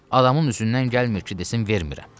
Adamın üzündən gəlmir ki, desin vermirəm.